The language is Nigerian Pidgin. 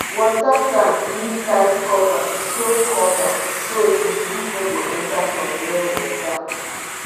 water tank need tight cover so cover so disease no go enter from rainwater